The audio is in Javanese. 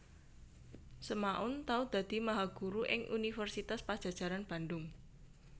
Semaun tau dadi mahaguru ing Universitas Padjajaran Bandhung